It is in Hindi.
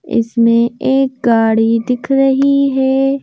इसमें एक गाड़ी दिख रही है।